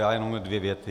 Já jen dvě věty.